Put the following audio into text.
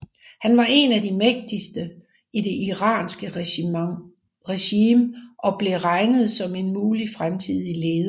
Han var en af de mægtigste i det iranske regimet og blev regnet som en mulig fremtidig leder